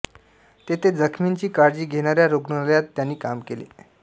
तेथे जखमींची काळजी घेणाऱ्या रुग्णालयात त्यांनी काम केले